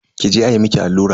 Ki je ayi miki allura.